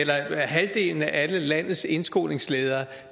halvdelen af landets indskolingsledere